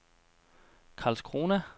Karlskrona